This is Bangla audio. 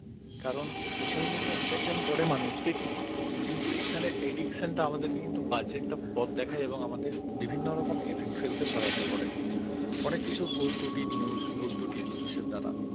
কারণ social media entertain করে মানুষকে কিন্তু এখানে addiction টা আমাদের কিন্তু বাজে একটা পথ দেখায় এবং আমাদের বিভিন্ন রকম effect ফেলতে সহায়তা করে অনেক কিছু ভুল ত্রুটি news ভুল ত্রুটি জিনিসের দ্বারা